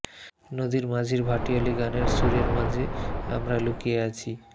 নদীর মাঝির ভাটিয়ালি গানের সুরের মাঝে আমরা লুকিয়ে আছি